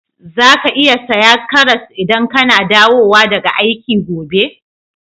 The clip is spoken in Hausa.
Zaka iya saya karras idan kana dawowa daga aiki gobe?